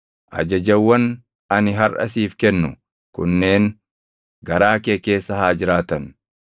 Ajajawwan ani harʼa siif kennu kunneen garaa kee keessa haa jiraatan.